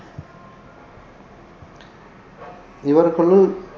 இவர்களுள்